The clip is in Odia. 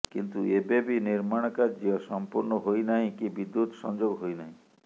କିନ୍ତୁ ଏବେବି ନିର୍ମାଣ କାର୍ଯ୍ୟ ସମ୍ପୁର୍ଣ୍ଣ ହୋଇନାହିଁ କି ବିଦ୍ୟୁତ୍ ସଂଯୋଗ ହୋଇନାହିଁ